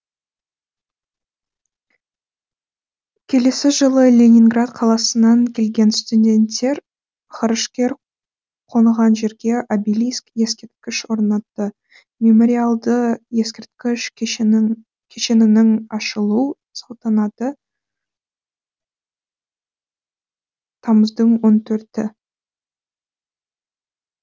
келесі жылы ленинград қаласынан келген студенттер ғарышкер қонған жерге обелиск ескерткіш орнатты мемориалды ескерткіш кешенінің ашылу салтанаты тамыздың он төрті